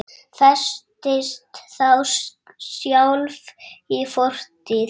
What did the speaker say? Festist þá sjálf í fortíð.